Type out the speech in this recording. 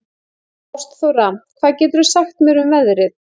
Ástþóra, hvað geturðu sagt mér um veðrið?